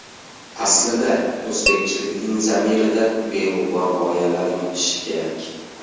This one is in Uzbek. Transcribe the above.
Aslida, o‘zbekchilikning zamirida beg‘ubor g‘oyalar yotishi kerak.